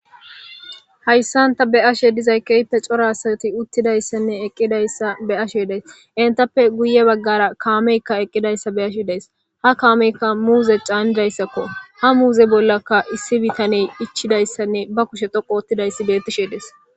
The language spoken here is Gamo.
Hayssanta be ashe dizay keyppe corasati uttidayssanne eqqidayssa be ashe dees intappe guye baggara kaameykka eqqidayssa be ashe dees ha kaameykka muuze caannidayssakko ha muuze bollaka issi bitaney ichidayssanne ba kushe thoqo ottidayssi bettishe dees